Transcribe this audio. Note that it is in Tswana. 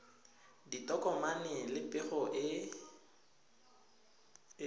ditokomane le pego e e